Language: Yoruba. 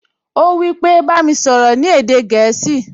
Ó wípé, "Bá mi sọ̀rọ̀ ní èdè gẹ̀ẹ́sì"